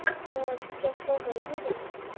আহ transfer হল নহয় জানো?